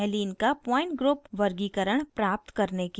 allene का point group वर्गीकरण प्राप्त करने के लिए